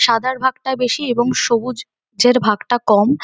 সাদার ভাগটা বেশি আর এবং সবুজ এর ভাগটা কম ।